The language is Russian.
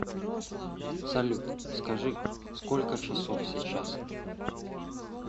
салют скажи сколько часов сейчас